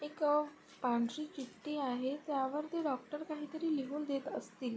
एक अ पांढरी चिट्ठी आहे. त्यावरती डॉक्टर काहीतरी लिहून देत असतील.